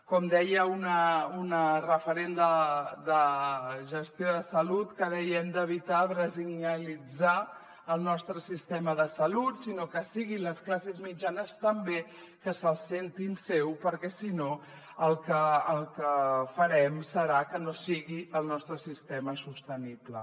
com deia una referent de gestió de salut que deia hem d’evitar brasilianitzar el nostre sistema de salut que siguin les classes mitjanes també que se’l sentin seu perquè si no el que farem serà que no sigui el nostre sistema sostenible